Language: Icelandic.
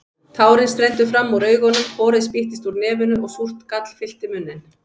Tárin streymdu fram úr augunum, horið spýttist úr nefinu og súrt gall fyllti munninn.